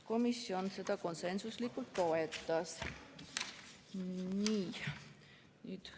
Komisjon seda konsensuslikult toetas.